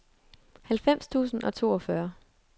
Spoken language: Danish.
halvfems tusind og toogfyrre